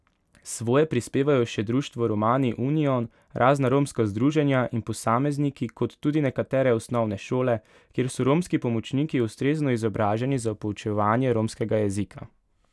Svoje prispevajo še društvo Romani union, razna romska združenja in posamezniki kot tudi nekatere osnovne šole, kjer so romski pomočniki ustrezno izobraženi za poučevanje romskega jezika.